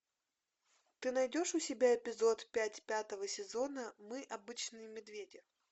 ты найдешь у себя эпизод пять пятого сезона мы обычные медведи